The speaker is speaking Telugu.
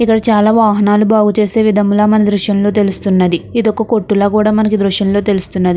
ఇక్కడ చాలా వాహనాలు బాగు చేసే విధంలా మనం దృశ్యంలో తెలుస్తున్నది ఇదొక కొట్టు ల కూడ మనకు ఈ దృశ్యంలో తెలుస్తున్నది.